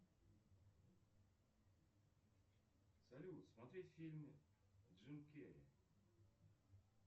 салют смотреть фильмы джим керри